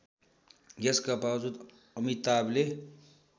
यसका बाबजुद अमिताभले